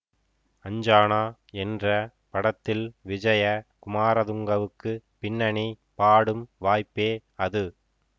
அஞ்சானா என்ற படத்தில் விஜய குமார துங்கவுக்கு பின்னணி பாடும் வாய்ப்பே அது